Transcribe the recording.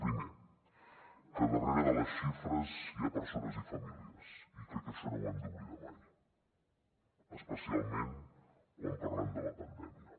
primer que darrere de les xifres hi ha persones i famílies i crec que això no ho hem d’oblidar mai especialment quan parlem de la pandèmia